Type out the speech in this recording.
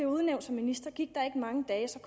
udnævnt som minister gik der ikke mange dage